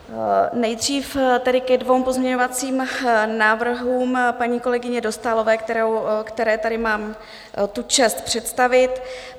Nejdřív tedy ke dvěma pozměňovacím návrhům paní kolegyně Dostálové, které tady mám tu čest představit.